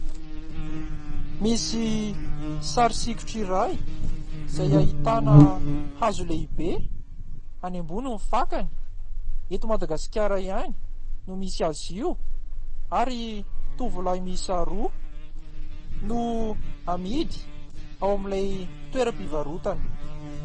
Misy sary sikotra iray izay ahitana : hazo lehibe, any ambony ny fakany, eto Madagasikara ihany no misy azy io ary tovolahy miisa roa no amidy ao amin'ilay toeram-pivarotana.